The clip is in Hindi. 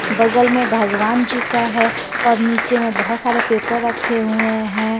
बगल में भगवान जी का है और नीचे में बहुत सारे पेपर रखे हुए है।